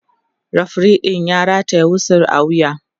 referee ɗin ya rataya wisu a wuya